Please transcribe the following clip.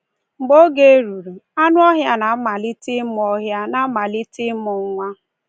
Mgbe oge ruru, anụ ọhịa na-amalite ịmụ ọhịa na-amalite ịmụ nwa.